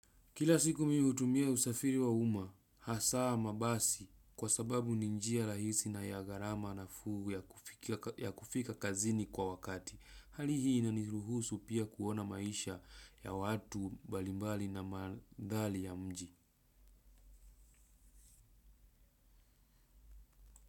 Kila siku mihutumia usafiri wa uma, hasaa mabasi kwa sababu ni njia rahisi na ya gharama nafuu ya kufika kazini kwa wakati. Hali hii inaniruhusu pia kuona maisha ya watu mbalimbali na mandhari ya mji.